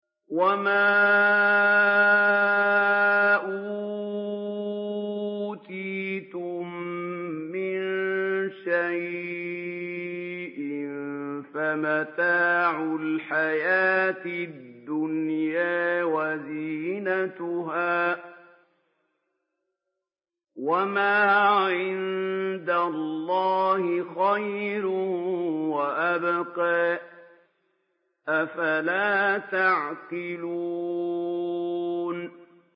وَمَا أُوتِيتُم مِّن شَيْءٍ فَمَتَاعُ الْحَيَاةِ الدُّنْيَا وَزِينَتُهَا ۚ وَمَا عِندَ اللَّهِ خَيْرٌ وَأَبْقَىٰ ۚ أَفَلَا تَعْقِلُونَ